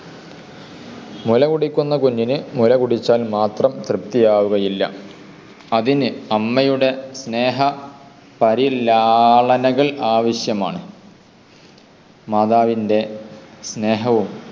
മുലകുടിക്കുന്ന കുഞ്ഞിന് മുലകുടിച്ചാൽ മാത്രം തൃപ്തിയാവുകയില്ല. അതിന് അമ്മയുടെ സ്നേഹ പരിലാളനകൾ ആവശ്യമാണ്. മാതാവിൻ്റെ സ്നേഹവും